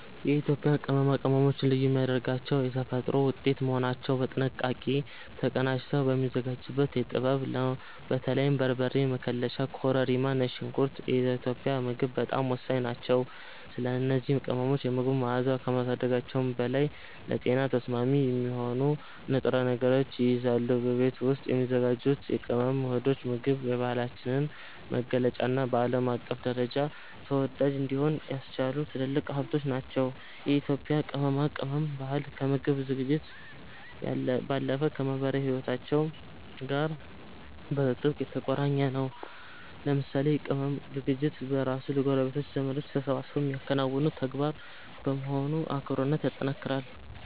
የኢትዮጵያ ቅመማ ቅመሞችን ልዩ የሚያደርጋቸው የተፈጥሮ ውጤት መሆናቸውና በጥንቃቄ ተቀናጅተው የሚዘጋጁበት ጥበብ ነው። በተለይም በርበሬ፣ መከለሻ፣ ኮረሪማና ነጭ ሽንኩርት ለኢትዮጵያዊ ምግብ ጣዕም ወሳኝ ናቸው። እነዚህ ቅመሞች የምግቡን መዓዛ ከማሳደጋቸውም በላይ ለጤና ተስማሚ የሆኑ ንጥረ ነገሮችን ይይዛሉ። በቤት ውስጥ የሚዘጋጁት የቅመም ውህዶች የምግብ ባህላችንን መገለጫና በዓለም አቀፍ ደረጃ ተወዳጅ እንዲሆን ያስቻሉ ትልልቅ ሀብቶቻችን ናቸው። የኢትዮጵያ የቅመማ ቅመም ባህል ከምግብ ዝግጅት ባለፈ ከማኅበራዊ ሕይወታችን ጋር በጥብቅ የተቆራኘ ነው። ለምሳሌ የቅመም ዝግጅት በራሱ ጎረቤቶችና ዘመዶች ተሰባስበው የሚያከናውኑት ተግባር በመሆኑ አብሮነትን ያጠናክራል።